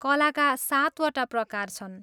कलाका सातवटा प्रकार छन्।